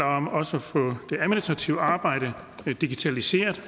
om også at få det administrative arbejde digitaliseret